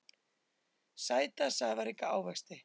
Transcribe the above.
Sæta safaríka ávexti.